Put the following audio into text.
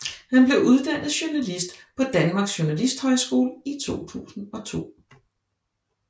Han blev uddannet journalist på Danmark Journalisthøjskole i 2002